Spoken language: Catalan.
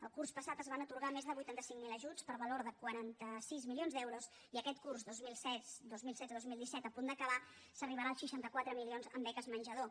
el curs passat es van atorgar més de vuitanta cinc mil ajuts per valor de quaranta sis milions d’euros i aquest curs dos mil setze dos mil disset a punt d’acabar s’arribarà als seixanta quatre milions en beques menjador